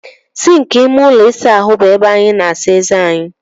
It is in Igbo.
Sịnkị ime ụlọ ịsa ahụ bụ ebe anyị na-asa eze anyị.